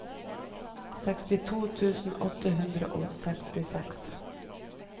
sekstito tusen åtte hundre og sekstiseks